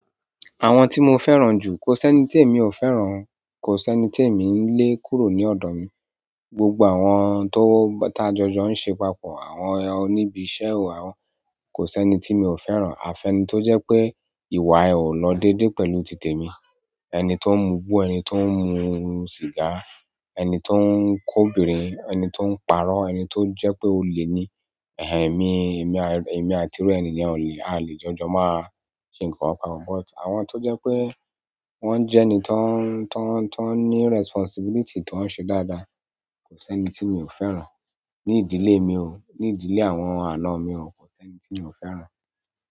Àwọn tí mo fẹ́ràn jù, kò s'ẹ́ni tí èmi ò fẹ́ràn, kò s'ẹ́ni tí èmi ń lé kúrò ní ọ̀dọ̀ mi. Gbogbo àwọn tó-- ta jọjọ ń ṣe papọ̀, àwọn oní ibi iṣẹ́, àwọn kò s'ẹ́ni tí mi ò fẹ́ràn. A fẹ́ ni tó jẹ́ pé, ìwà ẹ o lọ déédé pẹ̀lú ti tèmi, ẹni tó ń mugbo, ẹni tó ń mu sìgá, ẹni tó ń k'obinrin, ẹni tó ń parọ́, ẹni tó jẹ́ pé olè ni. En-en, èmi, èmi, èmi àti irú ẹni yẹn o lè, a a lè jọjọ máa ṣe ǹkan kan. But àwọn tó jẹ́ pé wọ́n jẹ́ ẹni tan ń, tan ń, tan ní responsibility tan ń ṣe dáadáa, kò s'ẹ́ni tí mi ò fẹ́ràn. Ní ìdílé mi ò, ní ìdílé àwọn aná mi ò, kò s'ẹ́ni tí mi ò fẹ́ràn.